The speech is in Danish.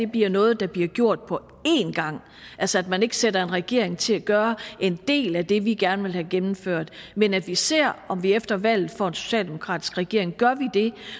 bliver noget der bliver gjort på en gang altså at man ikke sætter en regering til at gøre en del af det vi gerne vil have gennemført men at vi ser om vi efter valget får en socialdemokratisk regering gør vi det